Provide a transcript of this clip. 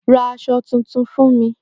Ra ohun tuntun fún mi ní wíwọ̀